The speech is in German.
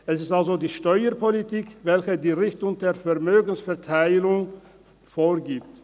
Es ist also die Steuerpolitik, welche die Richtung der Vermögensverteilung vorgibt.